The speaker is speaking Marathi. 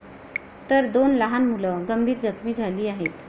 तर दोन लहान मुलं गंभीर जखमी झाली आहेत.